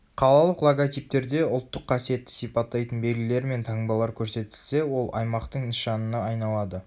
қалалық логотиптерде ұлттық қасиетті сипаттайтын белгілер мен таңбалар көрсетілсе ол аймақтың нышанына айналады